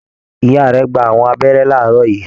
Ìyá rẹ̀ gbà àwọn abẹ́rẹ́ laarọ yìí.